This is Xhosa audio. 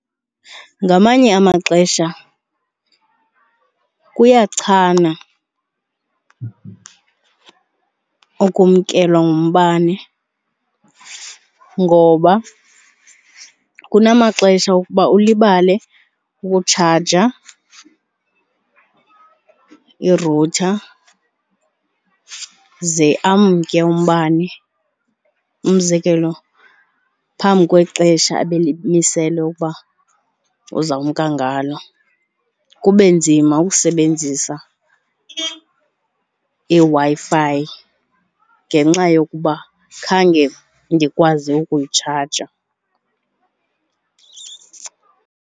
Ngamanye amaxesha kuyachana okumkelwa ngumbane ngoba kunamaxesha okuba ulibale ukutshaja irutha ze amke umbane, umzekelo phambi kwexesha abelimiselwe ukuba uza kumka ngalo, kube nzima ukusebenzisa iWi-Fi ngenxa yokuba khange ndikwazi ukuyitshaja.